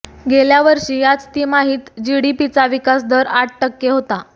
गेल्या वर्षी याच तिमाहीत जीडीपीचा विकासदर आठ टक्के होता